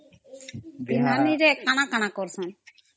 ପେହ୍ନାନିରେ କଣ କଣ କରସନ୍